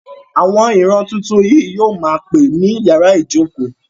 Àwọn ìran tuntun yìí yóò ma pè ní yàrá ìjókòó.